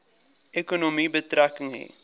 ekonomie betrekking hê